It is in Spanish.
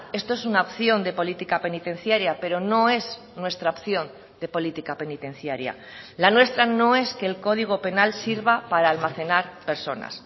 esto es una opción de política penitenciaria pero no es nuestra opción de política penitenciaria la nuestra no es que el código penal sirva para almacenar personas